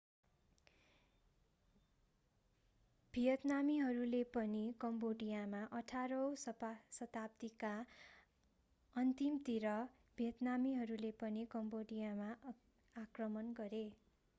भियतनामीहरूले पनि कम्बोडियामा 18 औं शताब्दीका अन्तिमतिर भियतनामीहरूले पनि कम्बोडियामा आक्रमण गरे